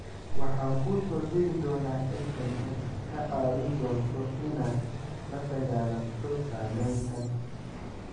Waxaan kuu soo diri doonaa SMS kaa caawin doona inaad la dagaallanto saameyntan.